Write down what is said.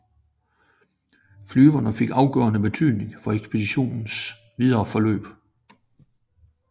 Flyene fik afgørende betydning for ekspeditionens videre forløb